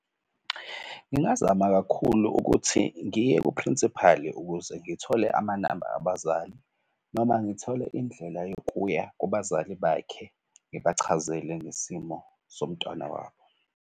Ngingazama kakhulu ukuthi ngiye kuprinsipali ukuze ngithole amanamba abazali noma ngithole indlela yokuya kubazali bakhe, ngibachazele ngesimo somntwana wabo.